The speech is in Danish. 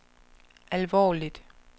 alvorligt